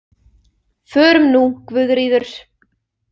Förum nú, Guðríður.